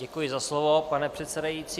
Děkuji za slovo, pane předsedající.